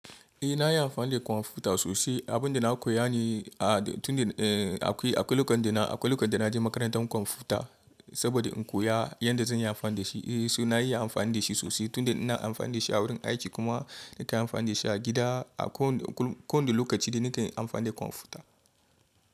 Eh nayi amfani da computer sosai abinda na koya ne ah akwai lokacin da naje makarantan computer saboda inkoya yadda zanyi amfani dashi eh sai na iya amfani dashi sosai tunda ina amfani dashi awurin aiki kuma nakan yi amfani dashi a gida a ko wani lokaci dai nake amfani da kwamfuta.